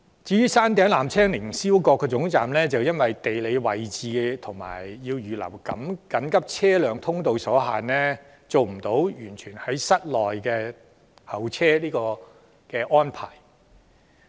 至於山頂凌霄閣的纜車總站，由於其地理位置所限及須預留緊急車輛通道，便無法安排乘客在室內候車。